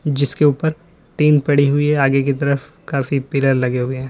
जिसके ऊपर टीन पड़ी हुई है आगे की तरफ काफी पिलर लगे हुए हैं।